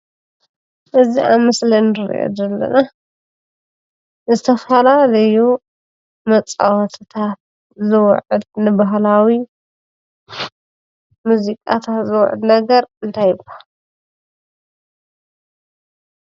እዚ ኣብ ምስሊ እንሪኦ ዘለና ንዝተፈላለዩ መፃወቲታት ዝውዕል ንባህላዊ ሙዚቃታት ዝውዕል ነገር እንታይ ይባሃል?